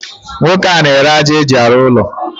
Nwoke a n'ere aja eji arụ ụlọ.